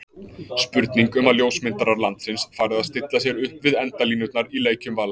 Spurning um að ljósmyndarar landsins fari að stilla sér upp við endalínurnar í leikjum Vals?